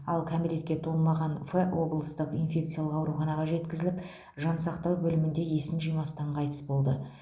ал кәмелетке толмаған ф облыстық инфекциялық ауруханаға жеткізіліп жансақтау бөлімінде есін жимастан қайтыс болды